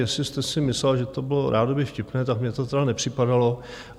Jestli jste si myslela, že to bylo rádoby vtipné, tak mně to tedy nepřipadalo.